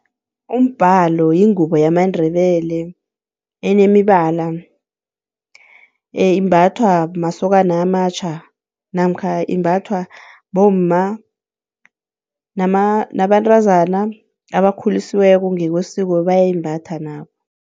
Umbalo yingubo yamaNdebele enemibala, imbathwa masokana amatjha namkha imbathwa bomma nabantazana abakhulisiweko ngekwesiko bayayimbatha nabo.